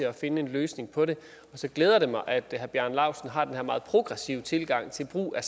at finde en løsning på det så glæder det mig at herre bjarne laustsen har den her meget progressive tilgang til brug af